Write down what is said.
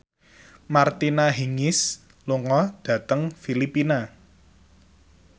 Martina Hingis lunga dhateng Filipina